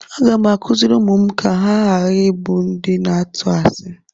Aga m akụziri ụmụ m ka ha ghara ịbụ ndị na-atụ asi.